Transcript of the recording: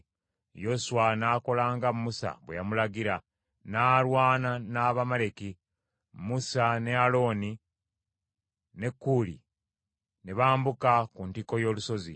Yoswa n’akola nga Musa bwe yamulagira, n’alwana n’Abamaleki. Musa ne Alooni ne Kuli ne bambuka ku ntikko y’olusozi.